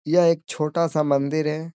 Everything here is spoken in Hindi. यह एक छोटा सा मन्दिर है।